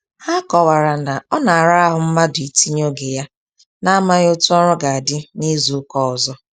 Ha kọwara na ọ na ara ahụ mmadụ itinye oge ya na-amaghị otú ọrụ ga adị na-ịzụ ụka ọzọ